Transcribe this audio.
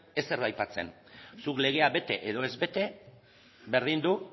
ezer aipatzen zuk legea bete edo ez bete berdin du